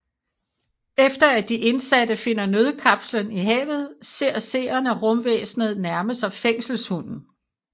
Efter at de indsatte finder nødkapslen i havet ser seerne rumvæsnet nærme sig fængselshunden